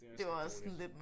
Ja det er også lidt dårligt